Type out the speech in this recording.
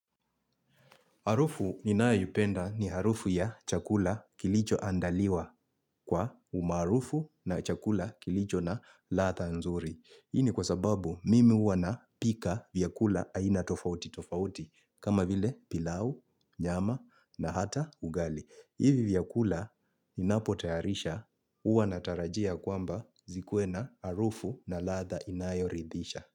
Harufu ninayupenda ni harufu ya chakula kilicho andaliwa kwa umaarufu na chakula kilicho na ladha nzuri. Hii ni kwa sababu mimi huwa na pika vyakula aina tofauti tofauti kama vile pilau, nyama na hata ugali. Ivi vyakula ninapotayarisha uwa natarajia kwamba zikue na harufu na ladha inayoridhisha.